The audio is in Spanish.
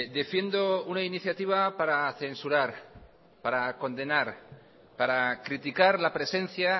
defiendo una iniciativa para censurar para condenar para criticar la presencia